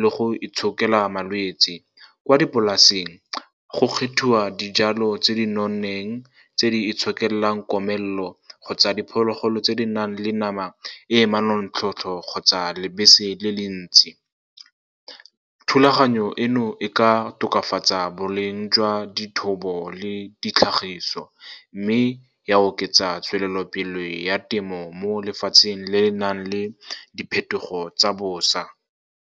le go itshokela malwetsi. Kwa dipolaseng, go kgethiwa dijalo tse di nonneng tse di itshokelang komello, kgotsa diphologolo tse di nang le nama e manontlhotlho kgotsa lebese le le ntsi. Thulaganyo eno e ka tokafatsa boleng jwa dithobo le ditlhagiso, mme ya oketsa tswelelopele ya temo mo lefatsheng le le nang le diphetogo tsa bosa.